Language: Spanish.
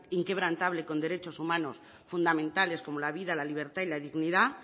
inquebrantable con derechos humanos fundamentales como la vida la libertad y la dignidad